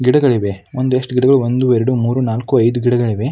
ಗಿಡಗಳಿವೆ ಒಂದು ಯೆಸ್ಟ್ ಗಿಡಗಳು ಒಂದು ಎರಡು ಮೂರೂ ನಾಲಕ್ಕು ಐದು ಗಿಡಗಳಿವೆ.